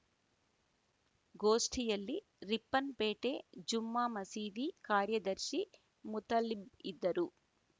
ಗೋಷ್ಠಿಯಲ್ಲಿ ರಿಪ್ಪನ್‌ಪೇಟೆ ಜುಮ್ಮ ಮಸೀದಿ ಕಾರ್ಯದರ್ಶಿ ಮುತಲಿಬ್‌ ಇದ್ದರು